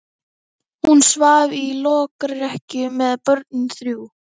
Hún svaf í lokrekkju með börnin þrjú.